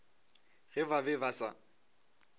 ge ba be ba sa